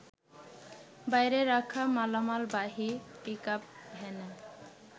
বাইরে রাখা মালামালবাহী পিকআপ ভ্যানে